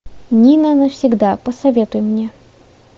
нина навсегда посоветуй мне